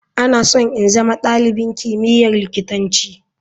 Ina so in zama dalibin kimiyyar likitanci.